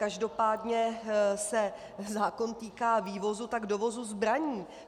Každopádně se zákon týká vývozu, tak dovozu zbraní.